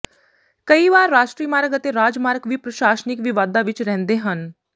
ਕਈ ਵਾਰ ਰਾਸ਼ਟਰੀ ਮਾਰਗ ਅਤੇ ਰਾਜ ਮਾਰਗ ਵੀ ਪ੍ਰਸ਼ਾਸਨਿਕ ਵਿਵਾਦਾਂ ਵਿਚ ਰਹਿੰਦੇ ਹਨ